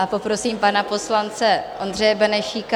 A poprosím pana poslance Ondřeje Benešíka.